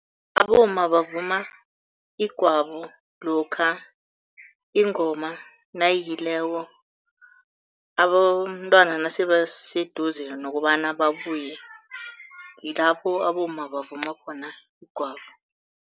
Abomma bavuma igwabo lokha ingoma nayiyileko, abomntwana nasebaseduze nokobana babuye ngilapho abomma bavuma khona igwabo.